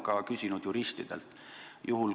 Ma olen küsinud ka juristidelt.